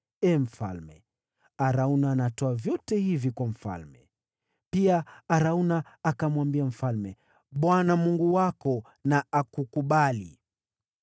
Ee mfalme, Arauna anatoa vyote hivi kwa mfalme.” Pia Arauna akamwambia mfalme, “ Bwana Mungu wako na akukubali.”